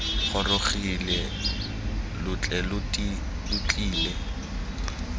gorogile lo tle lo tlile